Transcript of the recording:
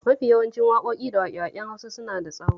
Mafi yawancin waƙoƙi da waƙe-waƙen Hausa suna da tsaho